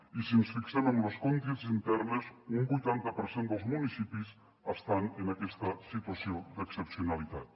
i si ens fixem en les conques internes un vuitanta per cent dels municipis estan en aquesta situació d’excepcionalitat